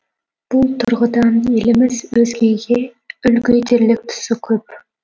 бұл тұрғыдан еліміз өзгеге үлгі етерлік тұсы көп